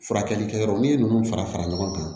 Furakɛli kɛ yɔrɔ n'i ye ninnu fara fara ɲɔgɔn kan